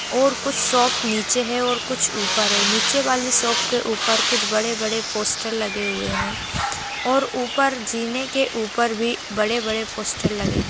और कुछ शॉप नीचे है और कुछ ऊपर है नीचे वाले शॉप के ऊपर कुछ बड़े-बड़े पोस्टर लगे हुए है और ऊपर जीने के ऊपर भी बड़े-बड़े पोस्टर लगे है।